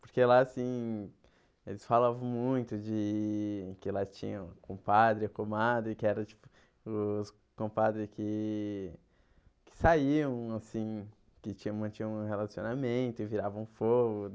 Porque lá, assim, eles falavam muito de que lá tinha um compadre, uma comadre, que eram, tipo, os compadres que que saíam, assim, que tinham mantinham um relacionamento e viravam fogo.